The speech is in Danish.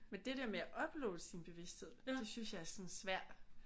Men det der med at uploade sin bevidsthed det synes jeg er sådan en svær